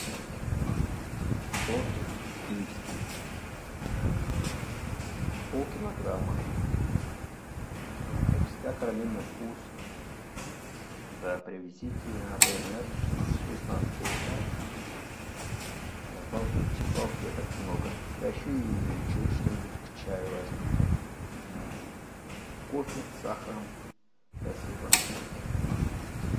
тортик киевский полкилограмма как всегда карамельный вкус да привезите на прежний адрес шестнадцатый этаж положите салфеток много а еще и что нибудь к чаю возьмите кофе с сахаром спасибо